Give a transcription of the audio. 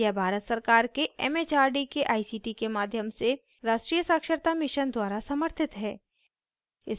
यह भारत सरकार के एमएचआरडी के आईसीटी के माध्यम से राष्ट्रीय साक्षरता mission द्वारा समर्थित है